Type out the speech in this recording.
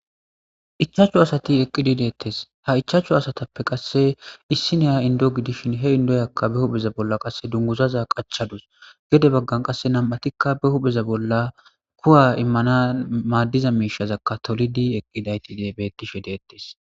ichaachchu asati eqqidi deettes ha ichaachchu asatappe qasse issi neya indo gidishin he indoyakka be hupheza bolla qasse dunguzaza qachadus gede baggan qasse nam7atikka be hupheza bolla kuwa immana maaddiza miishazakka tolidi eqqidayti de bettishe deettes